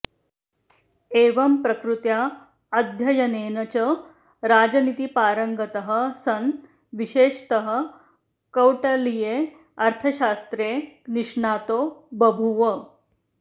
एवम् प्रकृत्या अध्ययनेन च राजनीतिपारङ्गतः सन् विशेषतः कौटलीये अर्थशास्त्रे निष्णातो बभूव